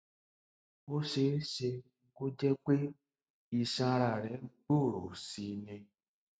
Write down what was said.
ó ṣe é ṣe kó jẹ pé iṣan ara rẹ gbòòrò sí i ni